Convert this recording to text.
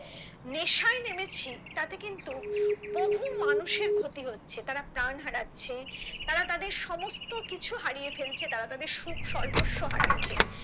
নেশায় নেমেছি তাতে কিন্তু বহু মানুষের ক্ষতি হচ্ছে তারা প্রাণ হারাচ্ছে তারা তাদের সমস্ত কিছু হারিয়ে ফেলছে তারা তাদের সুখ সর্বস্ব হারছে